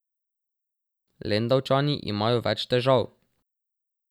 Lendavčani imajo več težav.